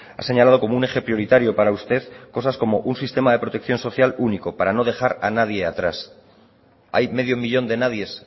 ha señalado como un eje prioritario para usted cosas como un sistema de protección social único para no dejar a nadie atrás hay medio millón de nadies